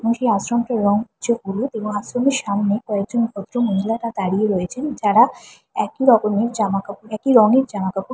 মনেহচ্ছে আশ্রমটির রং কিছু হলুদ এবং আশ্রমের সামনে কয়েকজন ভদ্রমহিলা তা দাঁড়িয়ে রয়েছেন যারা একই রকমের জামা কাপড় একই রঙের জামা কাপড়--